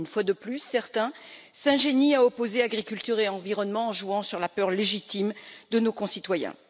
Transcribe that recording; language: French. Une fois de plus, certains s'ingénient à opposer agriculture et environnement, en jouant sur la peur légitime de nos concitoyens.